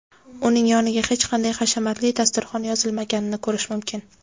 uning yoniga hech qanday hashamatli dasturxon yozilmaganini ko‘rish mumkin.